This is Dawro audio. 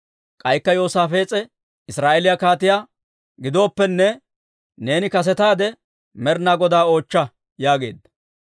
K'aykka Yoosaafees'e Israa'eeliyaa kaatiyaa, «Gidooppenne, neeni kasetaade Med'inaa Godaa oochcha» yaageedda.